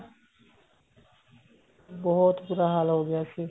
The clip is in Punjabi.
ਬਹੁਤ ਬੂਰਾ ਹਾਲ ਹੋ ਗਿਆ ਸੀ